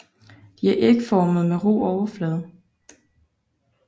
De er ægformede med ru overflade